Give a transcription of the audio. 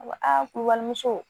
A b'a a kuru bali muso